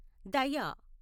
దయ